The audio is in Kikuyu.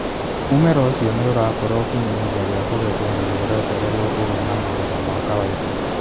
Mũmera ũcio nĩ ũrakũra ũkinye ihinda rĩa kũgethwo na nĩ ũretererwo kũgĩa na magetha ma kawaida.